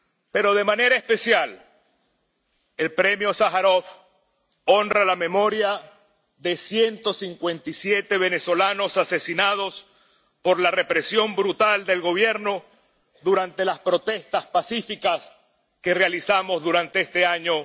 Pero, de manera especial, el Premio Sájarov honra la memoria de ciento cincuenta y siete venezolanos asesinados por la represión brutal del gobierno durante las protestas pacíficas que realizamos durante este año